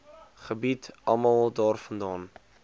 gebied almal daarvandaan